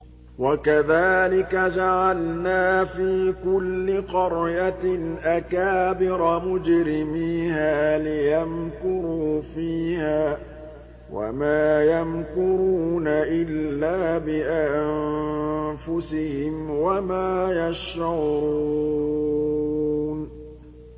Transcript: وَكَذَٰلِكَ جَعَلْنَا فِي كُلِّ قَرْيَةٍ أَكَابِرَ مُجْرِمِيهَا لِيَمْكُرُوا فِيهَا ۖ وَمَا يَمْكُرُونَ إِلَّا بِأَنفُسِهِمْ وَمَا يَشْعُرُونَ